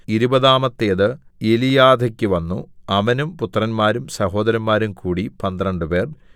ഇരുപതാമത്തേത് എലീയാഥെക്ക് വന്നു അവനും പുത്രന്മാരും സഹോദരന്മാരും കൂടി പന്ത്രണ്ടുപേർ